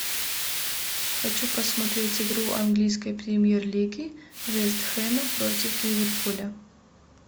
хочу посмотреть игру английской премьер лиги вест хэма против ливерпуля